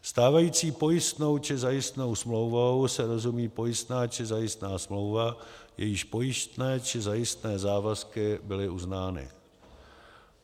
Stávající pojistnou či zajistnou smlouvou se rozumí pojistná či zajistná smlouva, jejíž pojistné či zajistné závazky byly uznány.